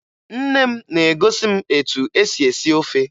Nne m na-egosi m etu e si esi ofe